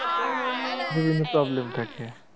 বিভিন্ন problem থাকে